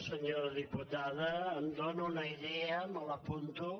senyora diputada em dóna una idea me l’apunto